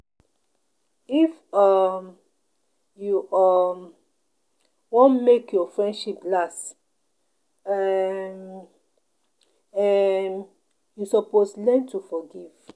If um you um wan make your friendship last, um um you suppose learn to forgive.